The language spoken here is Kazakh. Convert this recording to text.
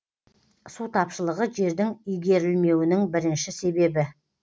су тапшылығы жердің игерілмеуінің бірінші себебі